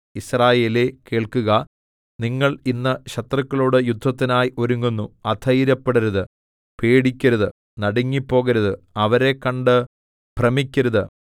യിസ്രായേലേ കേൾക്കുക നിങ്ങൾ ഇന്ന് ശത്രുക്കളോട് യുദ്ധത്തിനായി ഒരുങ്ങുന്നു അധൈര്യപ്പെടരുത് പേടിക്കരുത് നടുങ്ങിപ്പോകരുത് അവരെ കണ്ട് ഭ്രമിക്കയുമരുത്